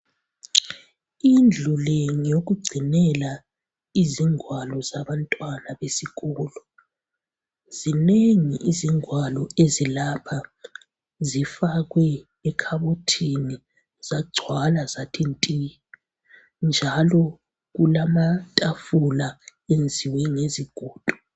Indlu le ngeyokugcinela izingwalo zabantwana besikolo. Zinengi izingwalo ezilapha, zifakwe ekhabothini zagcwala zathi nti. Njalo kulamatafula enziwe ngezigodo.